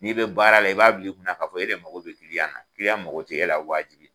N'i bɛ baara la i b'a bila i kun na k'a fɔ e de mako na mago tɛ e la waajibi.